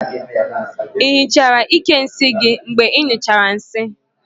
I hichara íkè nsị gị mgbe ịnyụchara nsị?